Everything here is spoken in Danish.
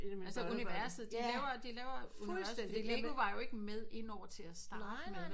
Altså universet de laver de laver fuldstændig lego var jo ikke med inde over til at starte med